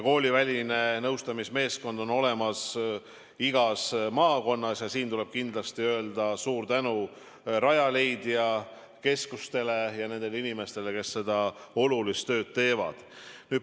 Kooliväline nõustamismeeskond on olemas igas maakonnas, siin tuleb kindlasti öelda suur tänu Rajaleidja keskustele ja nendele inimestele, kes seda olulist tööd teevad.